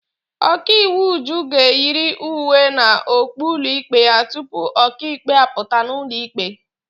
Ọkaiwu Uju ga-eyiri uwe na okpu ụlọikpe ya tupu ọkaikpe apụta n'ụlọ ikpe.